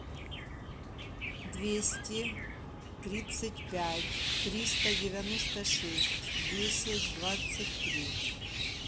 двести тридцать пять триста девяносто шесть десять двадцать три